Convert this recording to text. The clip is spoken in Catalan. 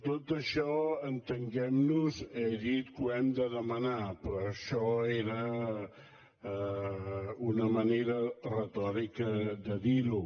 tot això entenguem nos he dit que ho hem de demanar però això era una manera retòrica de dir ho